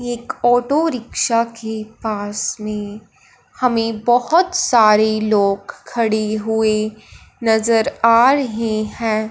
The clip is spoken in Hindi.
एक ऑटो रिक्शा के पास में हमें बहोत सारे लोग खड़े हुए नजर आ रहें हैं।